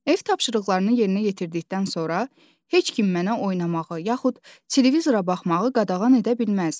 Ev tapşırıqlarını yerinə yetirdikdən sonra heç kim mənə oynamağı yaxud televizora baxmağı qadağan edə bilməz.